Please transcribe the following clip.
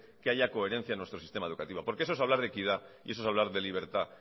que haya coherencia en nuestra sistema educativo porque eso es hablar de equidad y eso es hablar de libertad